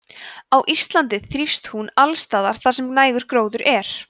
á íslandi þrífst hún alls staðar þar sem nægur gróður er